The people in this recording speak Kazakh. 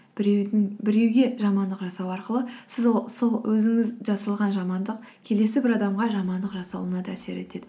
біреуге жамандық жасау арқылы сіз сол өзіңіз жасалған жамандық келесі бір адамға жамандық жасалуына да әсер етеді